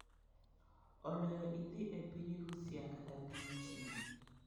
Oloyo idhi e piny Rusia kata piny China."